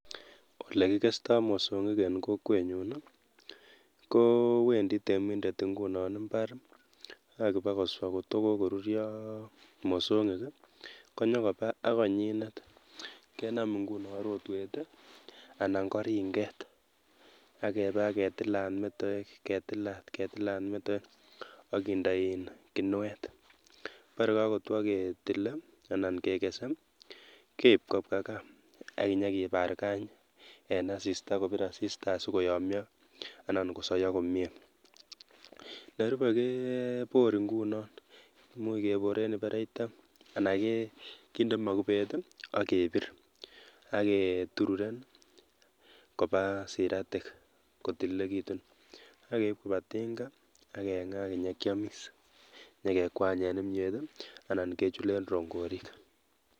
Ole kikestoi mosongik ing'kokwenyu kowendi temindet nguno mbar akibakoswa kotko kokoruryo mosongik konyokoba akonyindet kenam nguno rotwet anan ko ringet akeba ketilan metowek ketilat ketilat metowek akinda en kinwet. bara kakotwo ketile anan kekese keip kobwa gaa akenyibaargan en asista kobir asista asikoyamya anan kosoiyo komyie. nerube, kebor nguno much kebore anan kinde mokobet akebir aketururen koba siretik akotililekitu akeib koba tinga, akeng'aa akenyekiamis, nyekekwanye kimyiet anan kechule rongorik